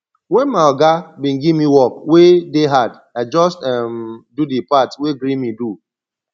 wen my oga bin give me work wey dey hard i just um do di part wey gree me do